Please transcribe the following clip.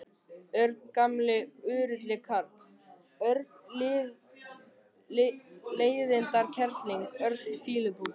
Örn gamli úrilli karl, Örn leiðindakerling, Örn fýlupoki.